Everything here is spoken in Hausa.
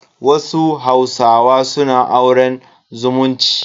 Wasu hausawa suna auren zumunci.